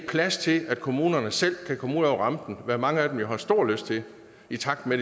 plads til at kommunerne selv kan komme ud over rampen hvad mange af dem jo har stor lyst til i takt med